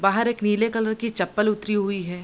बाहर एक नीले कलर की चप्पल उतरी हुई है।